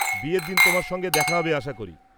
বিয়ের দিন তোমার সঙ্গে দেখা হবে আশা করি!